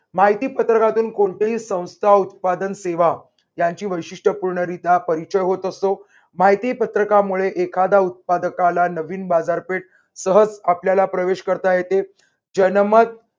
माहिती पत्रकातून कोणतेही संस्था उत्पादन सेवा त्यांची वैशिष्ट्यपूर्ण रित्या परिचय होत असतो. माहितीपत्रकामुळे एखाद्या उत्पादकाला नवीन बाजारपेठ सहज आपल्याला प्रवेश करता येते. जन्मत